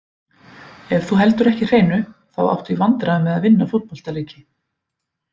Ef þú heldur ekki hreinu, þá áttu í vandræðum með að vinna fótboltaleiki.